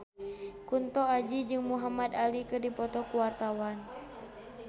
Kunto Aji jeung Muhamad Ali keur dipoto ku wartawan